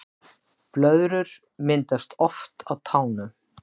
Blöðrur myndast oft á tánum